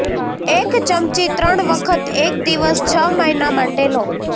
એક ચમચી ત્રણ વખત એક દિવસ છ મહિના માટે લો